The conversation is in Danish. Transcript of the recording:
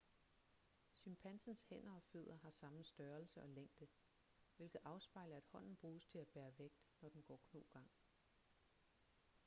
chimpansens hænder og fødder har samme størrelse og længde hvilket afspejler at hånden bruges til at bære vægt når den går knogang